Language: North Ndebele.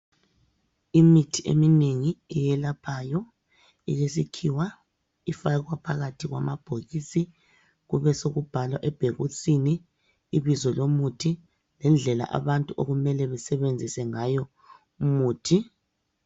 Imithi eminengi eyelaphayo eyesikhiwa ,ifakwa phakathi kwamabhokisi. Kubesekubhalwa ebhokisini ibizo lomuthi lendlela abantu okumele besebenzise ngayo umuthi.